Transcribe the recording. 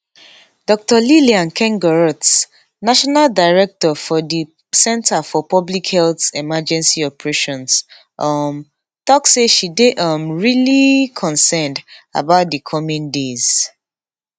dr liliane nkengurutse national director for di centre for public health emergency operations um tok says she dey um really concerned about di coming days